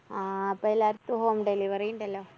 ആ ഇപ്പോ എല്ലായിടത്തും home delivery ഇണ്ടല്ലോ?